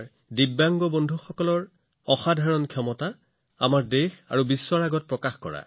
দিব্যাংগ সহকৰ্মীসকলৰ অসাধাৰণ সামৰ্থ্যৰ লাভালাভ দেশ আৰু বিশ্বলৈ অনাৰ কাম কৰিছে